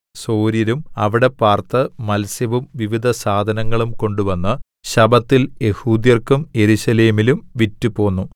സോര്യരും അവിടെ പാർത്ത് മത്സ്യവും വിവിധസാധനങ്ങളും കൊണ്ടുവന്ന് ശബ്ബത്തിൽ യെഹൂദ്യർക്കും യെരൂശലേമിലും വിറ്റുപോന്നു